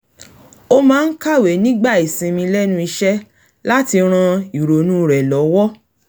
ó máa ń kàwé nígbà ìsinmi lẹ́nu iṣẹ́ láti ran ìrònú rẹ̀ lọ́wọ́